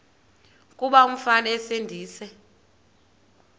kuba umfana esindise